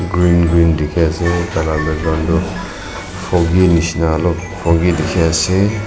green green dikhi asey taila background du foggy nishi na olop foggy dikhi asey.